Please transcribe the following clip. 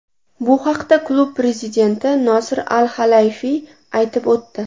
Bu haqda klub prezidenti Nosir Al-Halayfiy aytib o‘tdi.